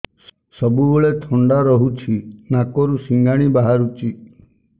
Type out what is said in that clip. ସବୁବେଳେ ଥଣ୍ଡା ରହୁଛି ନାକରୁ ସିଙ୍ଗାଣି ବାହାରୁଚି